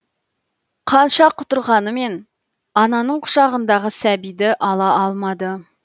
қанша құтырғанымен ананың құшағындағы сәбиді ала алмады